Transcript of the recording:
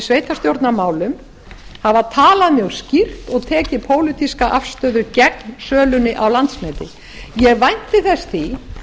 sveitarstjórnarmálum hafa talað mjög skýrt og tekið pólitíska afstöðu gegn sölunni á landsneti ég vænti þess því